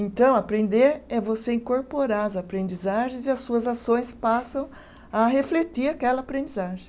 Então, aprender é você incorporar as aprendizagens e as suas ações passam a refletir aquela aprendizagem.